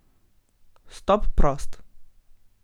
Vstop prost.